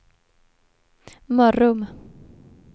Mörrum